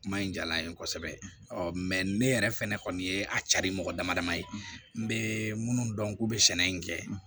Kuma in diyala n ye kosɛbɛ ɔ mɛ ne yɛrɛ fɛnɛ ye a cari mɔgɔ damadamani ye n bɛ minnu dɔn k'u bɛ sɛnɛ in kɛ